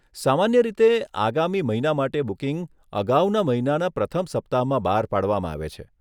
સામાન્ય રીતે આગામી મહિના માટે બુકિંગ અગાઉના મહિનાના પ્રથમ સપ્તાહમાં બહાર પાડવામાં આવે છે.